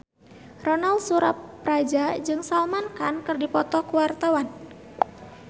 Ronal Surapradja jeung Salman Khan keur dipoto ku wartawan